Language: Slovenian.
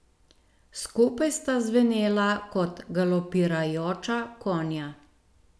Skupaj sta zvenela kot galopirajoča konja.